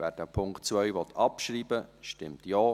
Wer den Punkt 2 abschreiben will, stimmt Ja,